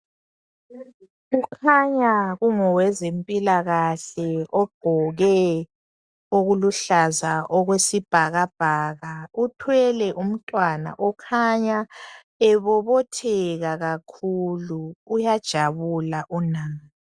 Kukhanya kungowezempilakahle ogqoke okuluhlaza okwesibhakabhaka uthwele umntwana okhanya ebobotheka kakhulu uyajabula unana.